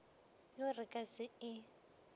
yo re ka se e